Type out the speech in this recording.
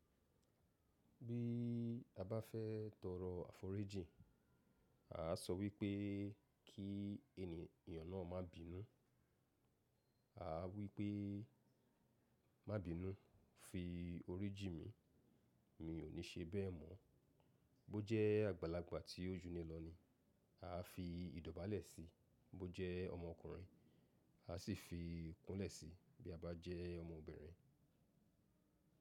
Bí a bá fẹ́ tọrọ àforíjì, a á sọ wípé kí ènìyàn náà má bínú, a á wípé má bínú fi orí jí mi, mi ò ní ṣe bẹ́ẹ̀ mọ́. Bó jẹ́ àgbàlagbà tí ó jú ni lọ ni, a á fi ìdọ́ba lẹ̀ síi, bó jẹ́ ọmọkùnrin, a á sì fi ikún lẹ̀ síi bí a bá jẹ́ ọmọbìnrin.